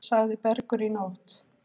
Sagði Bergur í nótt.